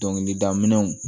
Dɔnkilida minɛnw